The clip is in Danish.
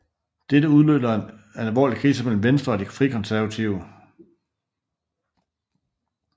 Dette udløser en alvorlig krise mellem Venstre og De Frikonservative